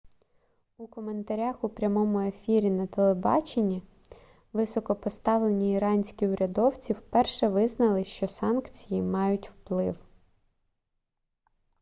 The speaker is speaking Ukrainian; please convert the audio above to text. у коментарях у прямому ефірі на тб високопоставлені іранські урядовці вперше визнали що санкції мають вплив